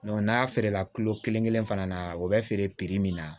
n'a feerela kilo kelen kelen fana na o bɛ feere min na